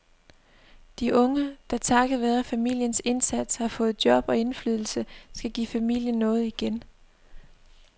De unge, der takket være familiens indsats har fået job og indflydelse, skal give familien noget igen.